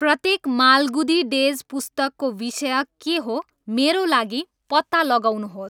प्रत्येक माल्गुदी डेज पुस्तकको विषय के हो मेरो लागि पत्ता लगाउनुहोस्